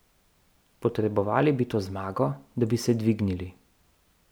Potrebovali bi to zmago, da bi se dvignili.